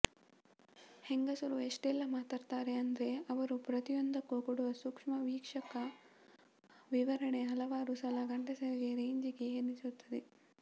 ಹೆಂಗಸರು ಎಷ್ಟೆಲ್ಲ ಮಾತಾಡ್ತಾರೆ ಅಂದ್ರೆ ಅವರು ಪ್ರತಿಯೊಂದಕ್ಕೂ ಕೊಡುವ ಸೂಕ್ಷ್ಮ ವೀಕ್ಷಕ ವಿವರಣೆ ಹಲವಾರು ಸಲ ಗಂಡಸರಿಗೆ ರೇಜಿಗೆ ಎನಿಸುತ್ತೆ